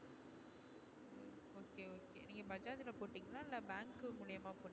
நீங்க bajaj போட்டிங்களா இல்ல bank மூலியமா போட்டிங்களா